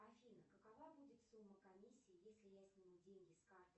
афина какова будет сумма комиссии если я сниму деньги с карты